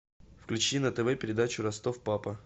включи на тв передачу ростов папа